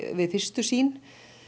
við fyrstu sýn